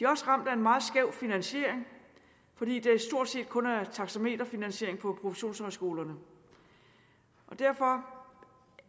også ramt af en meget skæv finansiering fordi der stort set kun er taxameterfinansiering på professionshøjskolerne derfor